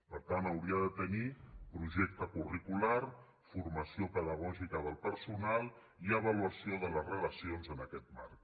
per tant hauria de tenir projecte curricular formació pedagògica del personal i avaluació de les relacions en aquest marc